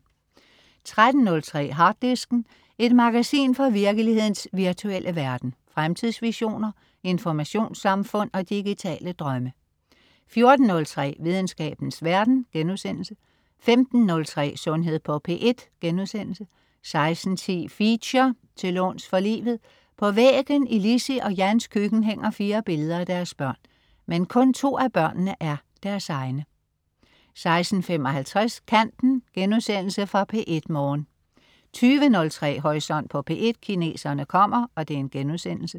13.03 Harddisken. Et magasin fra virkelighedens virtuelle verden. Fremtidsvisioner, informationssamfund og digitale drømme 14.03 Videnskabens verden* 15.03 Sundhed på P1* 16.10 Feature: Til låns for livet. På væggen i Lissie og Jans køkken hænger fire billeder af deres børn. Men kun to af børnene er deres egne 16.55 Kanten.* Genudsendelse fra P1 Morgen 20.03 Horisont på P1: Kineserne kommer*